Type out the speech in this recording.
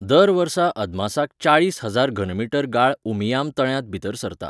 दर वर्सा अदमासाक चाळीस हजार घनमीटर गाळ उमियाम तळ्यांत भितर सरता.